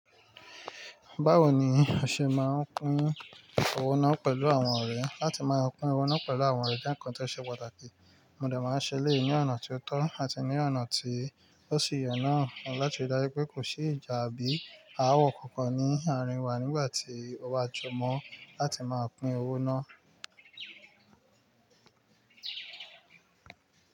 Báwo ni o ṣe máa ń pín owó náà pẹ̀lú àwọn ọ̀rẹ́? Látí máa pín owó náà pẹ̀lú àwọn ọ̀rẹ́ jẹ́ ǹkan tó ṣe pàtàkì, mo dà máa ń ṣe léyìn ní ọ̀nà tó tọ́ àti ní ọ̀nà tí ó sì yen naà láti ri dájú pé kò sí ìjà àbí àwọ̀ kankan ní àárín wa nígbà tí ó bá jọmọ́ láti máa pín owó náà.